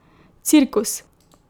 Cirkus!